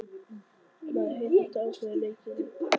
Maður heyrir þetta á hverri leiktíð er það ekki?